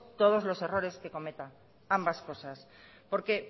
todos los errores que cometa ambas cosas porque